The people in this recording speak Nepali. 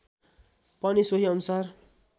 पनि सोही अनुसार